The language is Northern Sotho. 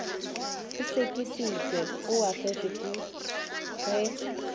o sekišitšwe o ahlotšwe ge